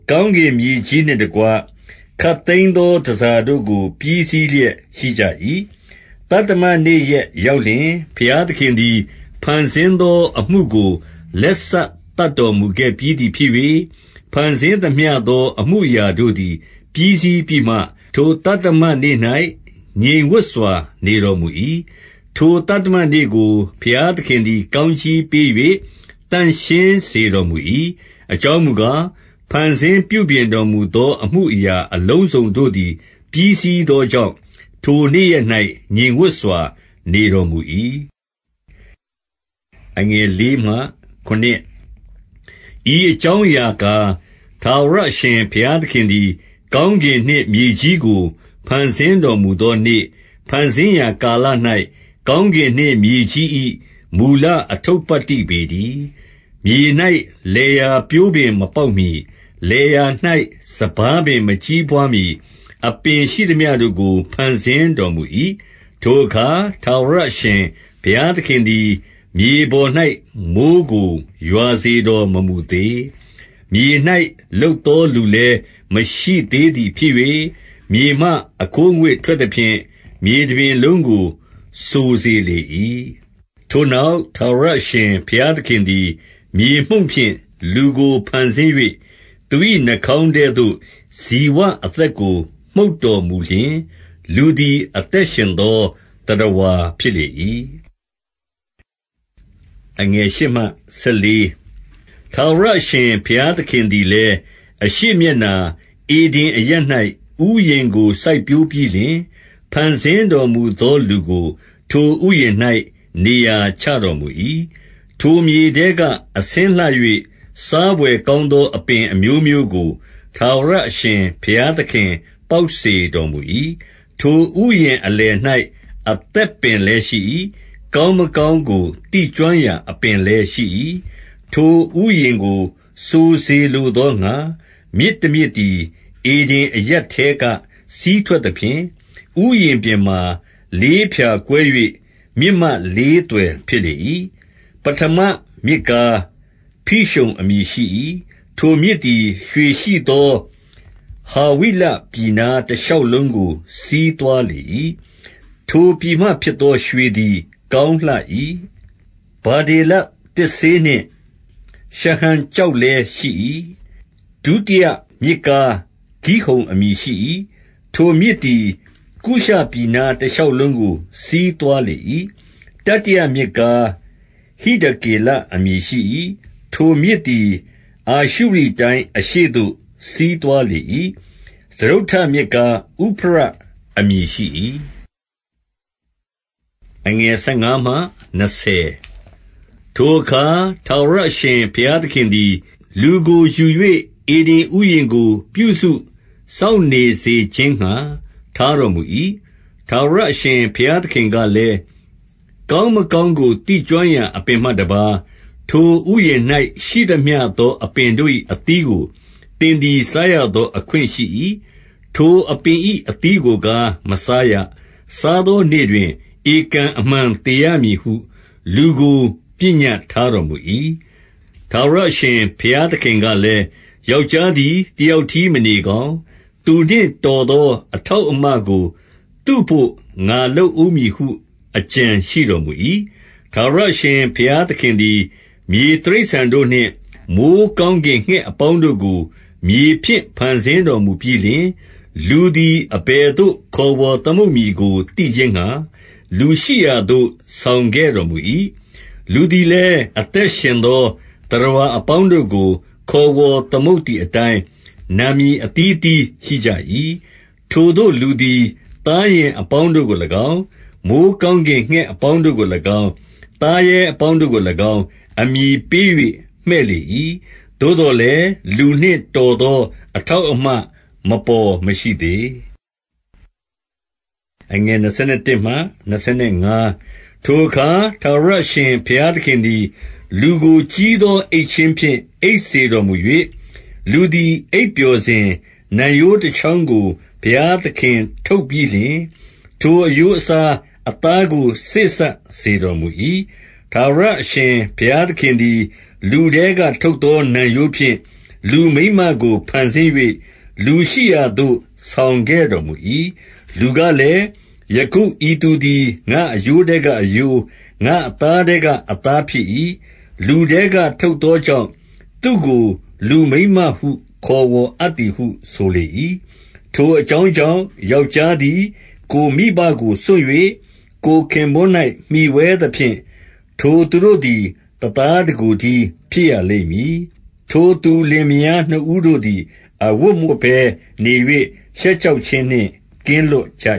ကောင်းကင်မြေကြီးနှင့်တကွ ခပ်သိမ်းသော တန်ဆာတို့သည် ပြီးစီးလျက်ရှိကြ၏။ သတ္တမနေ့ရက်ရောက်လျှင်၊ ဘုရားသခင်သည် ဖန်ဆင်းသောအမှုကို လက်စသတ်တော်မူခဲ့ပြီးသည် ဖြစ်၍၊ ဖန်ဆင်းသမျှသော အမူအရာတို့သည် ပြီးစီးပြီးမှ၊ ထိုသတ္တမနေ့၌ ငြိမ်ဝပ်စွာနေတော်မူ၏။ ထိုသတ္တမနေ့ကို ဘုရားသခင်သည် ကောင်းကြီးပေး၍ သန့်ရှင်းစေတော်မူ၏။ အကြောင်းမူကား၊ ဖန်ဆင်းပြုပြင်တော်မူသော ထိုအမူအရာအလုံးစုံတို့သည် ပြီးစီးသောကြောင့် ထိုနေ့ရက်၌ ငြိမ်ဝပ်စွာနေ တော်မူ၏။ ဤအကြောင်းအရာကား၊ ထာဝရအရှင်ဘုရားသခင်သည် ကောင်းကင်နှင့်မြေကြီးကို ဖန်ဆင်းတော်မူ သောနေ့၊ ဖန်ဆင်းရာကာလ၌ကောင်းကင်နှင့်မြေကြီး၏ မူလအတ္ထုပတ္တိပေတည်း။ မြေ၌ လယ်ယာပျိုးပင်မပေါက်မှီ၊ လယ်ယာ၌ စပါးပင်မကြီးပွားမှီ၊ အပင်ရှိသမျှတို့ကိုဖန်ဆင်းတော်မူ၏။ ထိုအခါ ထာဝရအရှင်ဘုရားသခင်သည် မြေပေါ်၌ မိုဃ်းကိုရွာစေတော်မမူသေး။ မြေ၌လုပ်သော လူလည်း မရှိသေးသည်ဖြစ်၍၊ မြေမှအခိုးအငွေ့ထွက်သဖြင့် မြေတပြင်လုံးကို စိုစေလေ၏။ ထိုနောက်၊ ထာဝရအရှင်ဘုရားသခင်သည် မြေမှုန့်ဖြင့် လူကို ဖန်ဆင်း၍၊ သူ၏နှာခေါင်းထဲသို့ ဇိဝအသက်ကို မှုတ်တော်မူလျှင်၊ လူသည် အသက်ရှင်သော သတ္တဝါဖြစ်လေ၏။ ထာဝရအရှင် ဘုရားသခင်သည်လည်း အရှေ့မျက်နှာ၊ ဧဒင်အရပ်၌ဥယျာဉ်ကို စိုက်ပျိုးပြီးလျှင်၊ ဖန်ဆင်းတော်မူသောလူကို ထိုဥယျာဉ်၌ နေရာချတော်မူ၏။ ထိုမြေထဲက အဆင်းလှ၍၊ စားဘွယ်ကောင်းသော အပင်အမျိုးမျိုးကို ထာဝရအရှင်ဘုရားသခင် ပေါက်စေတော်မူ၏။ ထိုဥယျာဉ်အလယ်၌ အသက်ပင်လည်းရှိ၏။ ကောင်းမကောင်းကို သိကျွမ်းရာအပင် လည်းရှိ၏။ ထိုဥယျာဉ်ကို စိုစေလိုသောငှာ မြစ်တမြစ်သည် ဧဒင်အရပ်ထဲကစီးထွက်သဖြင့်၊ ဥယျာဉ်ပြင်မှာ လေးဖြာကွဲ၍ မြစ်မလေးသွယ်ဖြစ်လေ၏။ ပဌမမြစ်ကား ဖိရုန်အမည်ရှိ၏။ ထိုမြစ်သည် ရွှေရှိသော ဟာဝိလပြည်နား တရှောက်လုံးကို စီးသွား လေ၏။ ထိုပြည်မှဖြစ်သောရွှေသည် ကောင်းလှ၏။ ဗဓေလသစ်စေးနှင့် ရှဟံကျောက်လည်းရှိ၏။ ဒုတိယမြစ်ကား ဂိဟုန်အမည်ရှိ၏။ ထိုမြင်သည် ကုရှပြည် နား တရှောက်လုံးကို စီးသွားလေ၏။ တတိယမြစ်ကား ဟိဒကေလအမည်ရှိ၏။ ထိုမြစ်သည် အာရှုရိတိုင်း အရှေ့သို့ စီးသွားလေ၏။ စတုတ္ထမြစ်ကား ဥဖရတ်အမည်ရှိ၏။ ထိုအခါ ထာဝရအရှင်ဘုရားသခင်သည် လူကိုယူ၍ ဧဒင်ဥယျာဉ်ကို ပြုစုစောင့်ရှောက်စေခြင်းငှါ ထားတော်မူ၏။ ထာဝရအရှင်ဘုရားသခင်ကလည်း၊ ကောင်းမကောင်းကို သိကျွမ်းရာအပင်မှတပါး၊ ထိုဥယျာဉ်၌ ရှိသမျှသော အပင်တို့၏အသီးကို သင်သည် စားရသောအခွင့်ရှိ၏။ ထိုအပင်၏ အသီးကိုကား မစားရ။ စားသောနေ့တွင် ဧကန်အမှန်သေရမည်ဟု လူကို ပညက် ထားတော်မူ၏။ ထာဝရအရှင်ဘုရားသခင်ကလည်း၊ ယောက်ျားသည် တယောက်တည်းမနေကောင်း၊ သူနှင့်တော်သော အထောက်အမကို သူဘို့ငါလုပ်ဦးမည်ဟု အကြံရှိတော်မူ၏။ ထာဝရရှင်ဘုရားသခင်သည် မြေတိရစ္ဆာန်တို့နှင့်၊ မိုဃ်းကောင်းကင်ငှက်အပေါင်းတို့ကို မြေဖြင့်ဖန်ဆင်း တော်မူပြီးလျှင်၊ လူသည် အဘယ်သို့ခေါ်ဝေါ်သမုတ်မည်ကို သိခြင်းငှာ၊ လူရှိရာသို့ ဆောင်ခဲ့တော်မူ၏။ လူသည် လည်း အသက်ရှင်သော သတ္တဝါအပေါင်းတို့ကို ခေါ်ဝေါ် သမုတ်သည့်အတိုင်း၊ နာမည်အသီးအသီးရှိကြ၏။ ထိုသို့လူသည် သားယဉ်အပေါင်းတို့ကို၎င်း၊ မိုဃ်းကောင်းကင် ငှက်အပေါင်းတို့ကို၎င်း၊ မိုဃ်းကောင်း ကင်ငှက်အပေါင်းတို့ကို၎င်း၊ သားရဲအပေါင်းတို့ကို၎င်း၊ အမည်ပေး၍မှည့်လေ၏။ သို့သော်လည်း လူနှင့်တော် သော အထောက်အမ မပေါ်မရှိသေး၊ ထိုအခါ ထာဝရအရှင်ဘုရားသခင်သည် လူကို ကြီးသောအိပ်ခြင်းဖြင့် အိပ်စေတော်မူ၍၊ လူသည် အိပ်ပျော်စဉ်၊ နံရိုးတချောင်းကို ဘုရားသခင်ထုတ်ပြီးလျှင်၊ ထိုအရိုးအစားအသားကို စေ့စပ်စေတော်မူ၏။ ထာဝရအရှင်ဘုရားသခင်သည် လူထဲကထုတ်သော နံရိုးဖြင့် လူမိန်းမကိုဖန်ဆင်း၍လူရှိရာသို့ ဆောင်ခဲ့ တော်မူ၏။ လူကလည်း၊ ယခု ဤသူသည်ငါ့အရိုးထဲကအရိုး၊ ငါ့အသားထဲက အသားဖြစ်၏။ လူထဲက ထုတ်သော ကြောင့် သူ့ကိုလူမိန်းမဟု ခေါ်ဝေါ်အပ်သည်ဟု ဆိုလေ၏။ ထိုအကြောင်းကြောင့် ယောက်ျားသည် ကိုယ်မိဘကို စွန့်၍၊ ကိုယ့်ခင်ပွန်း၌မှီဝဲသဖြင့်၊ ထိုသူတို့သည် တသားတကိုယ်တည်း ဖြစ်ရလိမ့်မည်။ ထိုသူလင်မယားနှစ်ဦးတို့သည် အဝတ်မဝတ်ဘဲ နေ၍၊ ရှက်ကြောက်ခြင်းနှင့်ကင်းလွတ်ကြ